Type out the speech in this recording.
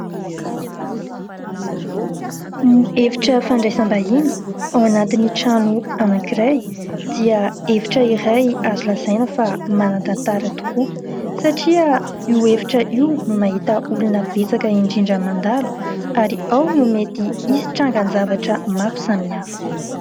Ny efitra fandraisam-bahiny ao anatin'ny trano anankiray dia efitra iray azo lazaina fa manan-tantara tokoa satria io efitra. Io no mahita olona betsaka indrindra mandalo ary ao no mety hisy trangan-javatra maro samy hafa.